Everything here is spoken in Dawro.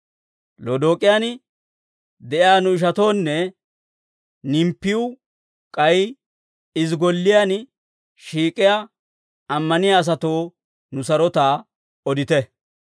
Lodook'iyaan de'iyaa nu ishatoonne Nimppiw k'ay izi golliyaan shiik'iyaa ammaniyaa asatoo nu sarotaa odite.